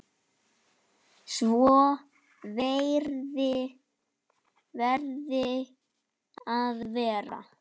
Svo verði að vera.